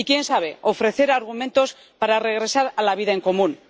y, quién sabe, ofrecer argumentos para regresar a la vida en común.